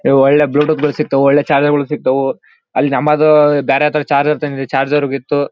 ಒಳ್ಳೆ bluetooth ಗಳು ಸಿಗ್ತವೆ ಒಳ್ಳೆ ಚಾರ್ಜರ್ ಗಳು ಸಿಗ್ತವು ಅಲ್ಲಿ ನಮ್ಮದು ಬೇರೆ ತರ ಚಾರ್ಜರ್ ತಂದಿವಿ ಚಾರ್ಜರ್ ಹೋಗಿತ್ತು.